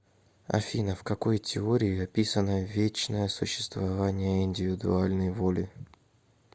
афина в какой теории описано вечное существование индивидуальной воли